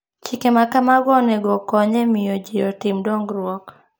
Chike ma kamago onego okony e miyo ji otim dongruok.